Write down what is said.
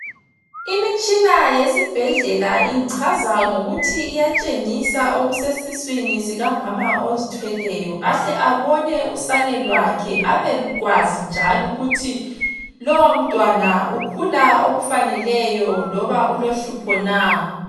Imitshina yesibhedlela ingichaza ngokuthi iyatshengisa okusesiswini sikamama ozithweleyo ahle abone usane lwakhe abekwazi njalo ukuthi lowo mntwana ukhula okufaneleyo loba ulohlupho na.